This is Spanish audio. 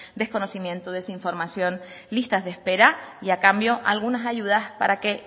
desconocimiento desinformación listas de espera y a cambio algunas ayudas para que